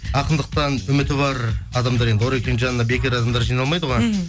ақындықтан үміті бар адамдар енді орекеңнің жанына бекер адамдар жиналмайды ғой мхм